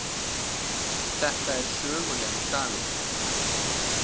Þetta er sögulegur dagur